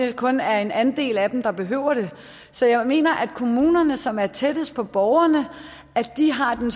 det kun er en andel af dem der behøver det så jeg mener at kommunerne som er tættest på borgerne har den